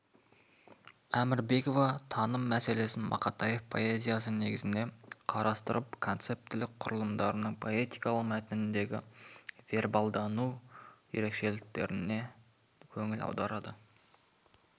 әмірбекова таным мәселесін мақатаев поэзиясы негізінде қарастырып концептілік құрылымдардың поэтикалық мәтіндегі вербалдану ерекшеліктеріне көңіл аударады